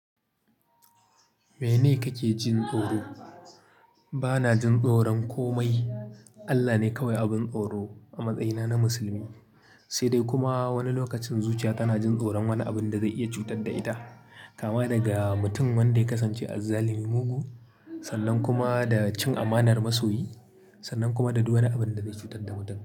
Mene kake jin tsoro? Bana jin tsoron komai. Allah ne kawai abin tsoro a matsayina na musulmi. Sai dai kuma wani lokacin zuciya tana jin tsoron wani abin da zai iya cutar da ita. Kama daga mutum wanda ya kasance azzalumi mugu, sannan kuma da cin amanar masoyi, sannan kuma da duk wani abin da zai cutar da mutum.